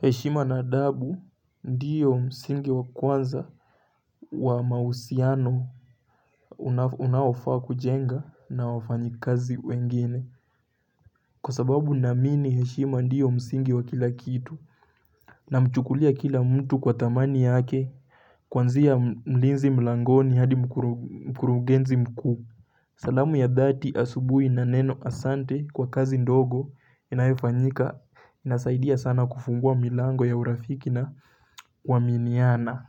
Heshima na adabu ndiyo msingi wa kwanza wa mahusiano unaofaa kujenga na wafanyikazi wengine. Kwa sababu naamini heshima ndiyo msingi wa kila kitu. Namchukulia kila mtu kwa thamani yake kuanzia mlinzi mlangoni hadi mkurugenzi mkuu. Salamu ya dhati asubui na neno asante kwa kazi ndogo inayofanyika inasaidia sana kufungua milango ya urafiki na kuaminiana